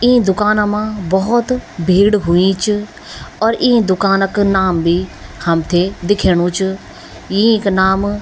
ई दुकाना मा भोत भीड़ हुई च और ई दुकान क नाम भी हमथे दिखेणु च यिंक नाम --